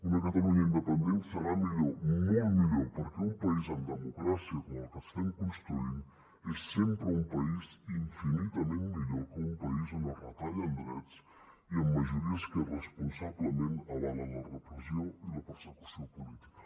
una catalunya independent serà millor molt millor perquè un país en democràcia com el que estem construint és sempre un país infinitament millor que un país on es retallen drets i amb majories que irresponsablement avalen la repressió i la persecució política